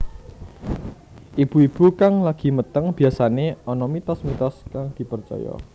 Ibu ibu kang lagi meteng biyasané ana mitos mitos kang dipercaya